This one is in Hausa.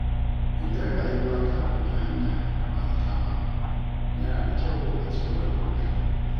Idan rayuwa ta ɗauki hanya da ba a zata ba, yana da kyau a ci gaba da ƙoƙari.